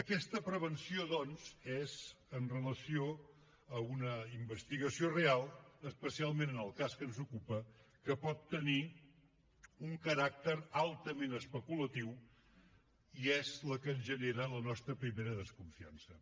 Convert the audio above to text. aquesta prevenció doncs és amb relació a una investigació real especialment en el cas que ens ocupa que pot tenir un caràcter altament especulatiu i és la que ens genera la nostra primera desconfiança